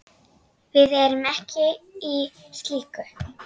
Við erum ekki í slíku.